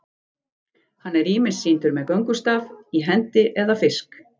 Hann er ýmist sýndur með göngustaf í hendi eða fisk.